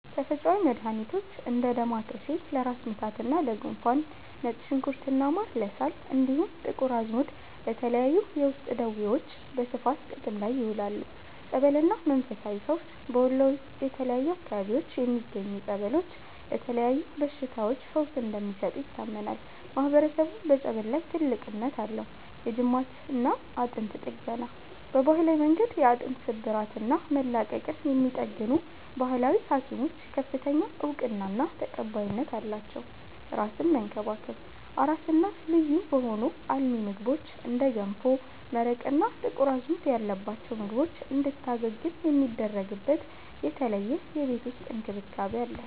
ተፈጥሮአዊ መድሃኒቶች፦ እንደ ዳማከሴ (ለራስ ምታትና ለጉንፋን)፣ ነጭ ሽንኩርትና ማር (ለሳል)፣ እንዲሁም ጥቁር አዝሙድ ለተለያዩ የውስጥ ደዌዎች በስፋት ጥቅም ላይ ይውላሉ። ጸበልና መንፈሳዊ ፈውስ፦ በወሎ የተለያዩ አካባቢዎች የሚገኙ ጸበሎች ለተለያዩ በሽታዎች ፈውስ እንደሚሰጡ ይታመናል፤ ማህበረሰቡም በጸበል ላይ ትልቅ እምነት አለው። የጅማትና አጥንት ጥገና፦ በባህላዊ መንገድ የአጥንት ስብራትና መላቀቅን የሚጠግኑ "ባህላዊ ሀኪሞች" ከፍተኛ እውቅናና ተቀባይነት አላቸው። አራስን መንከባከብ፦ አራስ እናት ልዩ በሆኑ አልሚ ምግቦች (እንደ ገንፎ፣ መረቅ እና ጥቁር አዝሙድ ያለባቸው ምግቦች) እንድታገግም የሚደረግበት የተለየ የቤት ውስጥ እንክብካቤ አለ።